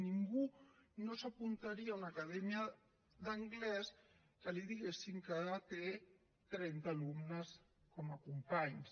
ningú no s’apuntaria a una acadèmia d’anglès que li diguessin que té trenta alumnes com a companys